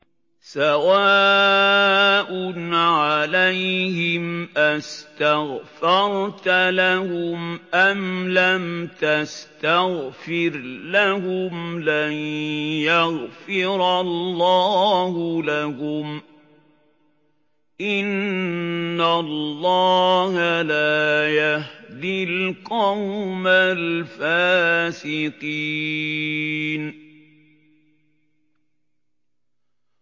سَوَاءٌ عَلَيْهِمْ أَسْتَغْفَرْتَ لَهُمْ أَمْ لَمْ تَسْتَغْفِرْ لَهُمْ لَن يَغْفِرَ اللَّهُ لَهُمْ ۚ إِنَّ اللَّهَ لَا يَهْدِي الْقَوْمَ الْفَاسِقِينَ